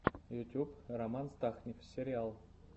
ютьюб роман стахнив сериал